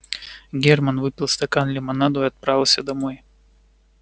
германн выпил стакан лимонаду и отправился домой